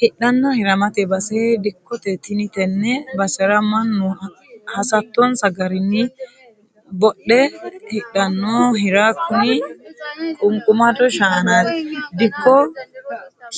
Hidhanna hiramate base dikkote tini tene basera manu hasattonsa garinni dodhe hidhanno hira kuni ququmado shaanati dikko